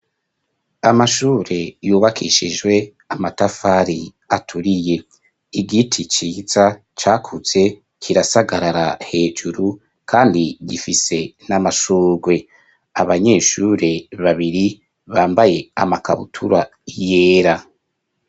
Amashure yubakishijwe amatafari aturiye igiti ciza cakuze kirasagarara hejuru kandi gifise n'amashugwe abanyeshure babiri bambaye amakabutura yera.